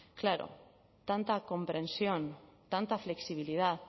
claro tanta comprensión tanta flexibilidad